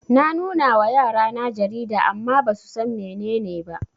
Na nunawa yarana jarida amma basusan mene ne ba